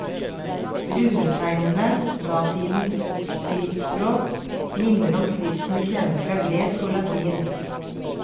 Runetegnene, datidens skriftspråk, minner om skriften vi kjenner fra gresk og latin.